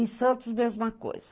Em Santos, mesma coisa.